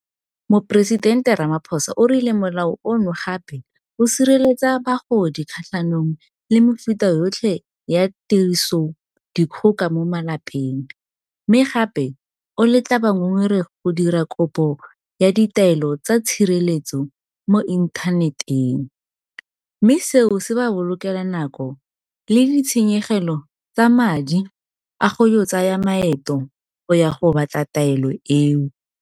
Moporesidente Ramaphosa o rile Molao ono gape o sireletsa bagodi kgatlhanong le mefuta yotlhe ya tirisodikgoka ya mo malapeng, mme gape o letla bangongoregi go dira kopo ya ditaelo tsa tshireletso mo inthaneteng, mme seo se ba bolokela nako le ditshenyegelo tsa madi a go tsaya maeto go ya go batla taelo eo.